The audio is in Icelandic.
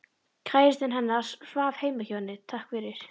Kærastinn hennar svaf heima hjá henni, takk fyrir